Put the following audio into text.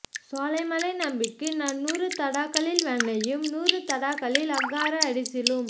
சோலைமலை நம்பிக்கு நான் நூறு தடாக்களில் வெண்ணையும் நூறு தடாக்களில் அக்கார அடிசிலும்